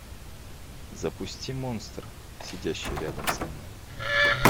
запусти монстр сидящий рядом со мной